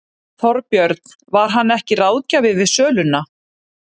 Þorbjörn: Var hann ekki ráðgjafi við söluna?